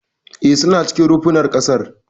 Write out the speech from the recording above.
E, suna cikin rumfunan ƙasar.